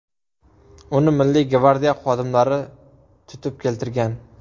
Uni Milliy gvardiya xodimlari tutib keltirgan.